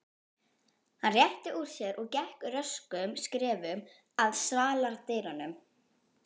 Hann rétti úr sér og gekk röskum skrefum að svaladyrunum.